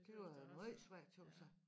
Det var måj svært tøs jeg